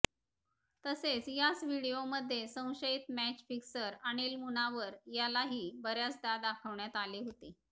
तसेच याच व्हिडिओमध्ये संशयित मॅच फिक्सर अनिल मुनावर यालाही बऱ्याचदा दाखवण्यात आले होते